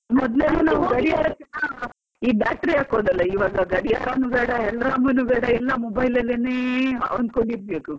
ಮೊದ್ಲೆಲ್ಲಾ ನಾವ್ ಗಡಿಯಾರ battery ಹಾಕುದಲ್ವಾ ಈಗ ಗಡಿಯಾರನು ಬೇಡ alarm ನು ಬೇಡ ಎಲ್ಲ mobile ಅಲ್ಲೇನೇ ಇರ್ಬೇಕು.